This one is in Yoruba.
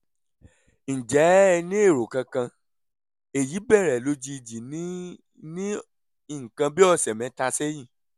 ǹjẹ́ ẹ ní èrò kankan? èyí bẹ̀rẹ̀ lójijì ní ní nǹkan bí ọ̀sẹ̀ mẹ́ta sẹ́yìn